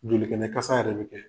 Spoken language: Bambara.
Jolikɛnɛ kasa yɛrɛ bɛ kɛ.